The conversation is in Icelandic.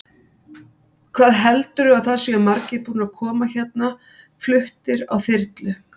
Hvað heldurðu að það séu margir búnir að koma hérna fluttir á þyrlu?